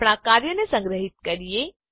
આપણા કાર્યને સંગ્રહીત કરીએ